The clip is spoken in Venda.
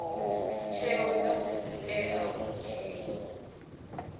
tsheo dza tea u dzhiiwa